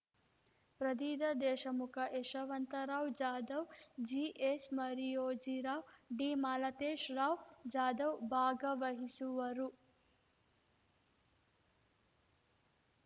ಪ್ರದೀದ ದೇಶಮುಖ ಯಶವಂತರಾವ್‌ ಜಾಧವ್‌ ಜಿಎಚ್‌ಮರಿಯೋಜಿರಾವ್‌ ಡಿಮಾಲತೇಶ ರಾವ್‌ ಜಾಧವ್‌ ಭಾಗವಹಿಸುವರು